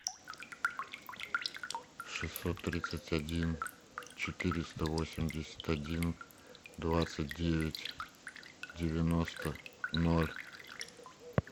шестьсот тридцать один четыреста восемьдесят один двадцать девять девяносто ноль